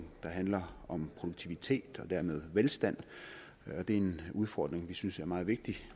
der handler om produktivitet og dermed velstand og det er en udfordring vi synes er meget vigtig at